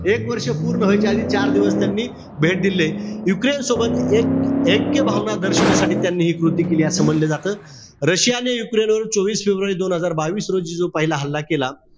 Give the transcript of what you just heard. एक वर्ष पूर्ण व्हायच्या आधी चार दिवस त्यांनी भेट दिलेलीय. युक्रेनसोबत ऐक्यभावना दर्शवण्यासाठी त्यांनी हि कृती केली असं म्हंटल जात. रशिया आणि युक्रेनवर वीस फेब्रुवारी दोन हजार बावीस रोजी जो पहिला हल्ला केला,